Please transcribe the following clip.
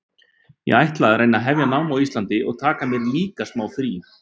Ég ætla að reyna að hefja nám á Íslandi og taka mér líka smá frí.